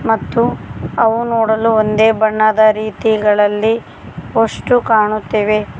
ಮತ್ತು ಅವು ನೋಡಲು ಒಂದೇ ಬಣ್ಣದ ರೀತಿಗಳಲ್ಲಿ ವಸ್ಟು ಕಾಣುತ್ತಿವೆ.